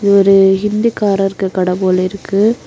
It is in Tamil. இது ஒரு ஹிந்திகாரர்கு கடை போலேருக்கு.